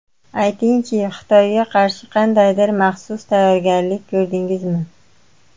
Aytingchi, Xitoyga qarshi qandaydir maxsus tayyorgarlik ko‘rdingizmi?